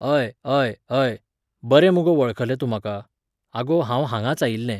अय, अय, अय, बरें मुगो वळखलें तूं म्हाका. आगो, हांव हांगांच आयिल्लें